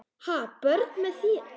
Ha, börn með þér?